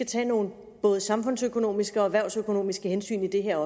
tage nogle både samfundsøkonomiske og erhvervsøkonomiske hensyn i det her